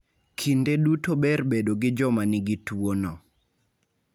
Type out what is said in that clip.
Kinde duto ber bedo gi joma nigi tuono.